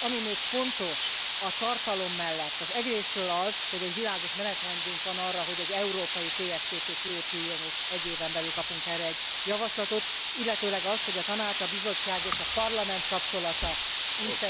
Ami még fontos a tartalom mellett, az egyrészről az, hogy egy világos menetrendünk van arra, hogy európai TFTP kiépüljön, és egy éven belül kapunk erre egy javaslatot, illetőleg az, hogy a Tanács, a Bizottság és a Parlament kapcsolata újszerű lesz ezek után.